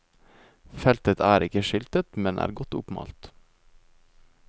Feltet er ikke skiltet, men er oppmalt.